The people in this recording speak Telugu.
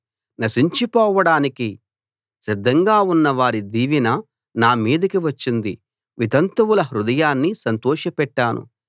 నశించిపోవడానికి సిద్ధంగా ఉన్నవారి దీవెన నా మీదికి వచ్చింది వితంతువుల హృదయాన్ని సంతోషపెట్టాను